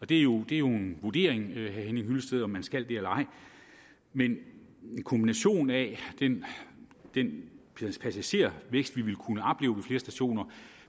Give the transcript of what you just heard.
det er jo en vurdering vil jeg henning hyllested om man skal det eller ej men kombinationen af den passagertilvækst vi vil